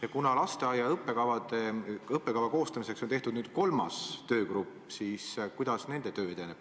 Ja kuna lasteaia õppekava koostamiseks on nüüd tehtud kolmas töögrupp, siis küsin ka, kuidas nende töö edeneb.